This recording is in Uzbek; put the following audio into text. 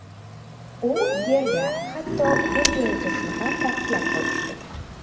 U yerda hatto, bir joyda turishni ham taqiqlab qo‘yishdi.